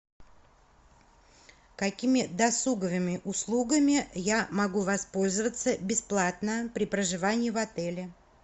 какими досуговыми услугами я могу воспользоваться бесплатно при проживании в отеле